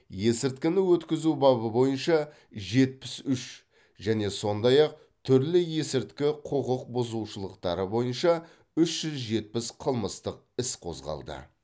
есірткіні өткізу бабы бойынша жетпіс үш және сондай ақ түрлі есірткі құқық бұзушылықтары бойынша үш жүз жетпіс қылмыстық іс қозғалды